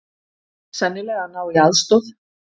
Sennilega að ná í aðstoð.